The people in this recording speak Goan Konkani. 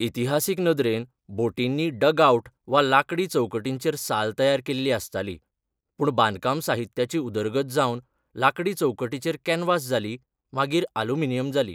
इतिहासीक नदरेन बोटींनी डगआउट वा लांकडी चौकटीचेर साल तयार केल्लीं आसतालीं, पूण बांदकाम साहित्याची उदरगत जावन लांकडी चौकटीचेर कॅनव्हास जाली, मागीर ऑल्युमिनियम जाली.